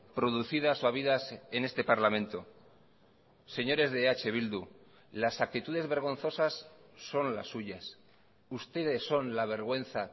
producidas o habidas en este parlamento señores de eh bildu las actitudes vergonzosas son las suyas ustedes son la vergüenza